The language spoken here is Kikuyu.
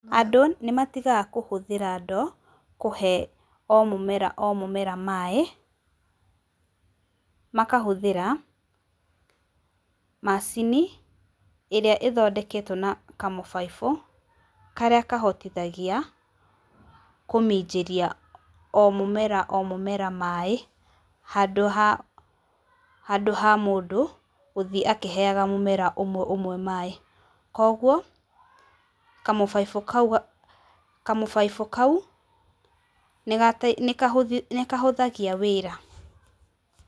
Andũ nĩmatigaga kũhũthĩra ndoo kũhe o mũmera o mũmera maĩ, makahũthĩra macini ĩrĩa ĩthondeketwo na kamũbaibũ karĩa kahotithagia kũminjĩria o mũmera o mũmera maĩ handũ ha handũ ha mũndũ gũthiĩ akĩhegaga mũmera ũmwe ũmwe maĩ. Koguo kamũbaibũ kau, kamũbaibũ kau nĩga nĩgahũthagia wĩra.